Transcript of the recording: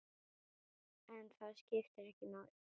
En það skiptir ekki máli.